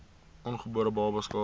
ongebore babas skade